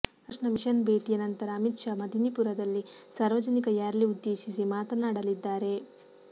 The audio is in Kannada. ರಾಮಕೃಷ್ಣ ಮಿಷನ್ ಭೇಟಿಯ ನಂತರ ಅಮಿತ್ ಶಾ ಮದಿನಿಪುರದಲ್ಲಿ ಸಾರ್ವಜನಿಕ ರ್ಯಾಲಿ ಉದ್ದೇಶಿಸಿ ಮಾತನಾಡಲಿದ್ದಾರೆ